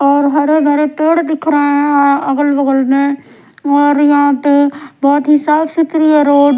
और हरे भरे पेड़ दिख रहे हैं अगल बगल में और यहां पे बहोत ही साफ सुथरी है रोड ।